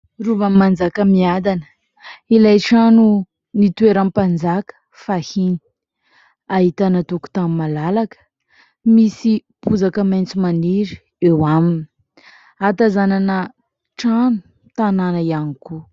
Rovan'i Manjakamiadana, ilay trano nitoeran'ny mpanjaka fahiny; ahitana tokotany malalaka misy bozaka maitso maniry eo aminy; ahatazanana trano, tanàna ihany koa